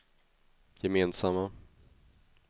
gemensamma